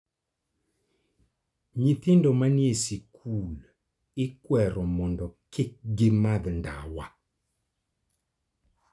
Nyithindo manie skul ikwero mondo kik gimadh ndawa.